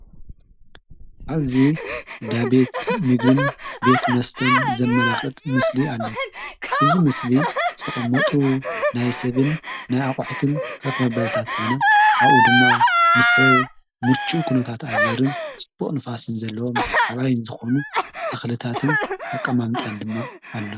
ኣብዙ ዳቤት ምግን ቤት መስተን ዘመላኽት ምስሊ ኣለዉ እዝ ምስሊ ዝተቐመጡ ናይ ሰብን ናይ ኣቕሕትን ከፍ መበልታት ኾይነ ኣኡ ድማ ምስብ ሙርችኡ ኽነታት ኣየርን ጽቡቕ ንፋስን ዘለዎም ስ ሓባይን ዝኾኑ ተኽልታትን ኣቐማምጣን ድማ ኣሎ።